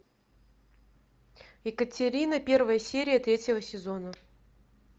екатерина первая серия третьего сезона